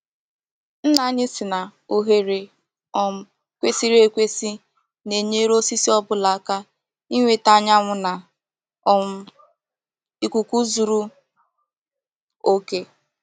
Nna anyị sị na oghere um kwesị̀rị̀ ekwèsị̀ na-enyere osisi ọ́bụla aka inweta anyánwụ́ na um íkùkù zuru ókè.